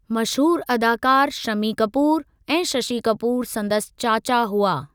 मशहूरु अदाकार शमी कपूर ऐं शशी कपूर संदसि चाचा हुआ।